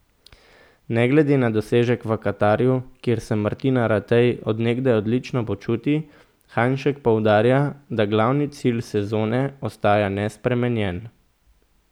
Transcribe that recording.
Ne glede na dosežek v Katarju, kjer se Martina Ratej od nekdaj odlično počuti, Hajnšek poudarja, da glavni cilj sezone ostaja nespremenjen.